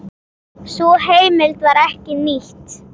Sú heimild var ekki nýtt.